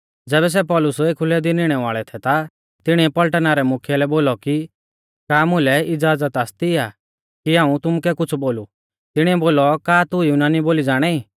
ज़ैबै सै पौलुस एखुलै दी निणै वाल़ै थै ता तिणीऐ पलटना रै मुख्यै लै बोलौ कि का मुलै इज़ाज़त आसती आ कि हाऊं तुमुकै कुछ़ बोलु तिणिऐ बोलौ का तू युनानी बोली ज़ाणाई